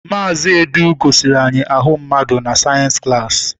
Mazị Edu gosiri anyị ahụ mmadụ na sayensi klaasi.